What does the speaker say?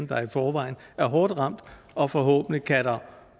der i forvejen er hårdt ramt og forhåbentlig kan der